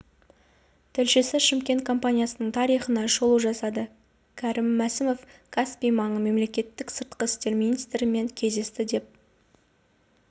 тілшісі шымкент компаниясының тарихына шолу жасады кәрім мәсімов каспий маңы мемлекеттерінің сыртқы істер министрлерімен кездесті деп